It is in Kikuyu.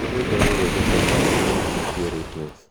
hee rwĩmbo rũrũ njata ithano na ũhonokio rating